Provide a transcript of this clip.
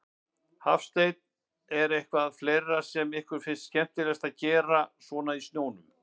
Hafsteinn: En er eitthvað fleira sem ykkur finnst skemmtilegt að gera svona í snjónum?